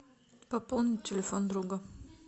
пополнить телефон друга